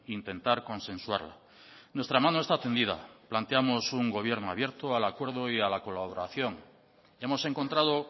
intentar consensuarla nuestra mano está tendida planteamos un gobierno abierto al acuerdo y a la colaboración hemos encontrado